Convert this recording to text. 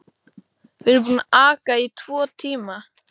Við erum búin að aka í tvo tíma.